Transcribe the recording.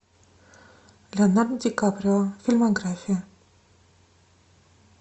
леонардо ди каприо фильмография